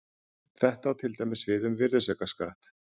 Þetta á til dæmis við um virðisaukaskatt.